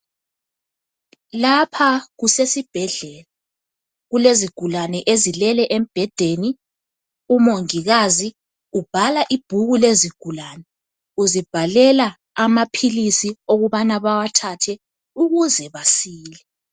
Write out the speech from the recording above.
Lapha kusesibhedlela kulezigulane ezilele embhedeni umongikazi ubhala ibhuku lezigulane uzibhalela amaphilisi okubana bawathathe ukuze basile